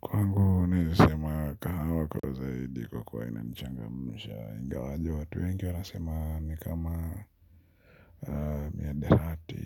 Kwangu naeza sema kahawa kwa zaidi kwa kuwa inanichangamsha ingawaje watu wengi wanasema ni kama miadarati